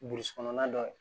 kɔnɔna dɔ ye